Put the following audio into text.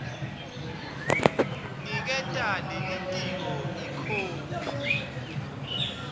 niketa lelitiko ikhophi